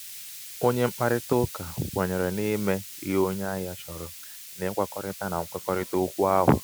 onye mkparịtaụka kwenyere imé ihe onye ahia chọrọ n'ịgwakọrịta na nkwekọrịta okwu ahụ.